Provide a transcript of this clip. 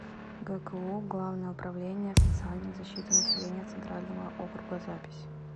гку главное управление социальной защиты населения центрального округа запись